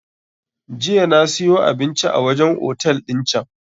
Jiya na siyo abinci a wajen otel din can